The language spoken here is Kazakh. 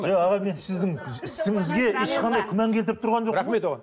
жоқ аға мен сіздің ісіңізге ешқандай күмән келтіріп тұрған жоқпын рахмет оған